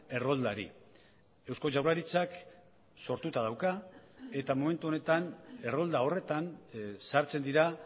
erroldari eusko jaurlaritzak sortuta dauka eta momentu honetan errolda horretan sartzen dira